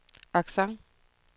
accent